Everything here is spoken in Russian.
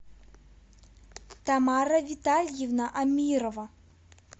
тамара витальевна амирова